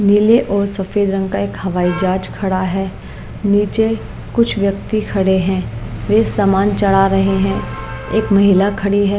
नीले और सफेद रंग का एक हवाई जहाज खड़ा है नीचे कुछ व्यक्ति खड़े हैं वे सामान चढ़ा रहे हैं एक महिला खड़ी है ।